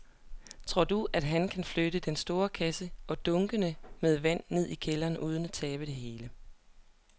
Tror du, at han kan flytte den store kasse og dunkene med vand ned i kælderen uden at tabe det hele?